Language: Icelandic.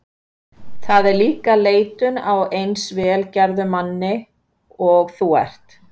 Það er líka leitun á eins vel gerðum manni og þú ert.